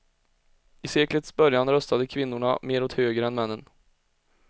I seklets början röstade kvinnorna mer åt höger än männen.